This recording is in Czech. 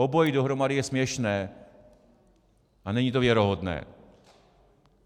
Obojí dohromady je směšné a není to věrohodné.